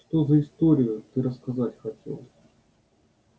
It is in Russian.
что за историю ты рассказать хотел